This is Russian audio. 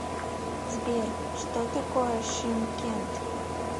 сбер что такое шымкент